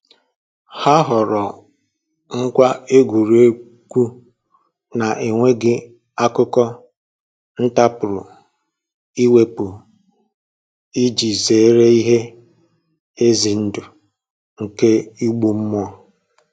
Ha họọrọ ngwa egwuregwu na-enweghị akụkụ nta a pụrụ iwepu iji zere ihe ize ndụ nke igbu mmụọ